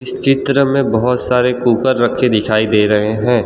इस चित्र में बहुत सारे कुकर रखे दिखाई दे रहे हैं।